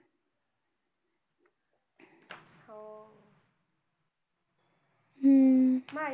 हम्म